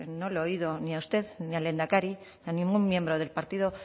no le he oído ni a usted ni al lehendakari ni a ningún miembro del partido